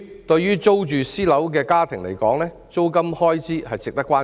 對於租住私樓的家庭而言，租金開支值得關注。